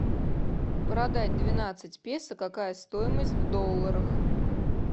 продать двенадцать песо какая стоимость в долларах